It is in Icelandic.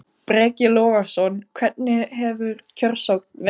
Breki Logason: Hvernig hefur kjörsókn verið?